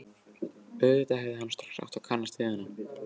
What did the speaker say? Auðvitað hefði hann strax átt að kannast við hana.